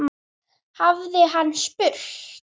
hafði hann spurt.